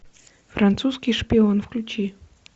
французский шпион включи